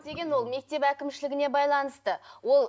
деген ол мектеп әкімшілігіне байланысты ол